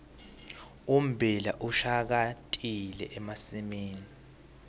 ummbila ushakatile emasimini